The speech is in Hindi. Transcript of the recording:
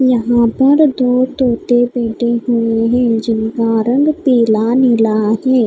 यहां पर दो तोते हुए है जिनका रंग पीला नीला हैं --